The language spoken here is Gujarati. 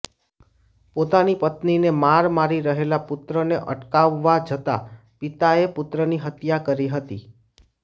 પોતાની પત્નીને માર મારી રહેલા પુત્રને અટકાવવા જતા પિતાએ પુત્રની હત્યા કરી હતી